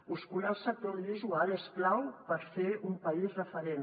muscular el sector audiovisual és clau per fer un país referent